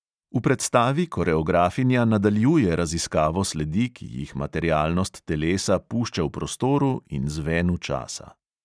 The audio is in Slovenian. V predstavi koreografinja nadaljuje raziskavo sledi, ki jih materialnost telesa pušča v prostoru in zvenu časa.